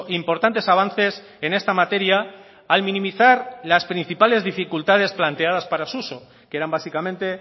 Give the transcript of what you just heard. importantes avances en esta materia al minimizar las principales dificultades planteadas para su uso que eran básicamente